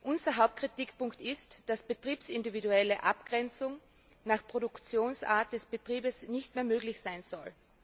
Unser Hauptkritikpunkt ist, dass eine betriebsindividuelle Abgrenzung nach Produktionsart des Betriebes nicht mehr möglich sein soll.